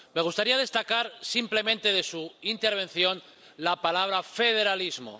Me gustaría destacar, simplemente, de su intervención, la palabra federalismo.